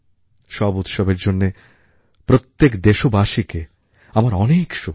সব উৎসবের জন্যে প্রত্যেক দেশবাসীকে আমার অনেক শুভেচ্ছা